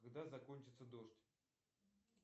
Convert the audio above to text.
когда закончится дождь